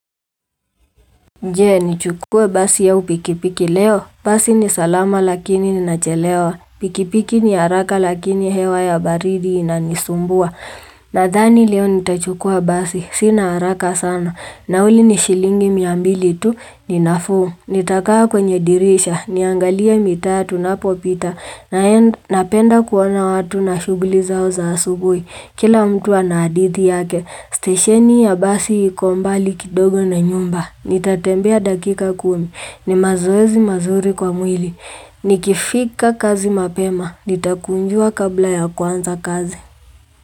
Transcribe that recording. Nje ni chukua basi ya upikipiki leo. Basi ni salama lakini ni nachelewa. Pikipiki ni haraka lakini hewa ya baridi inanisumbua. Nathani leo ni tachukua basi. Sina haraka sana. Nauli ni shilingi miambili tu ni nafu. Nitakaa kwenye dirisha, niangalie mita ya tunapopita, napenda kuona watu na shugulizao za asugui. Kila mtu anadithi yake, stesheni ya basi iko mbali kidogo na nyumba. Nitatembea dakika kumi, ni mazoezi mazuri kwa mwili. Nikifika kazi mapema, nitakunjua kabla ya kwanza kazi.